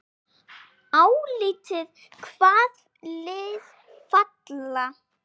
Álitið: Hvaða lið falla?